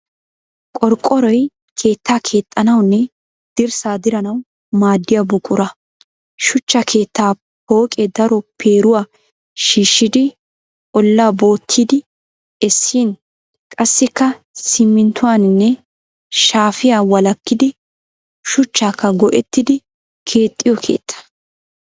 Qorqqoroy keettaa keexxanawunne dirssaa diranawu maaddiya buqura. Shuchcha keettaa pooqee daro peeruwa shiishshidi ollaa bootyidi essin, qassikka siminttuwaanne shafiya walakkidi shuchchakka go'ettidi keexxiyo keetta.